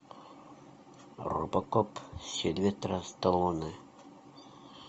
робокоп сильвестра сталлоне